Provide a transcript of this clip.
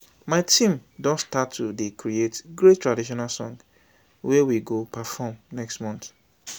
my team don start to dey create great traditional song wey we go perform next month